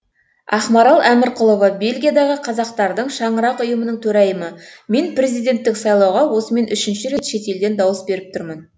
ақмарал әмірқұлова бельгиядағы қазақтардың шаңырақ ұйымының төрайымы мен президенттік сайлауға осымен үшінші рет шетелден дауыс беріп тұрмын